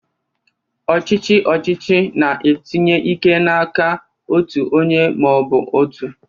Ọchịchị ọchịchị na-etinye ike n'aka otu onye ma ọ bụ otu.